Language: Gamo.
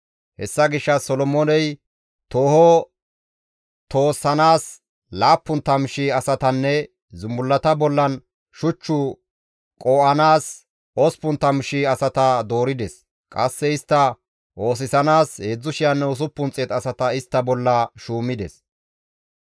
Hessa gishshas Solomooney tooho toossanaas 70,000 asatanne zumbullata bollan shuch qoo7anaas 80,000 asata doorides; qasse istta oosisanaas 3,600 asata istta bolla shuumides.